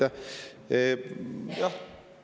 Jaa, aitäh!